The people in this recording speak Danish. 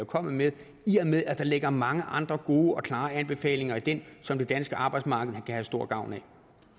kommet med i og med at der ligger mange andre gode og klare anbefalinger i den som det danske arbejdsmarked kan have stor gavn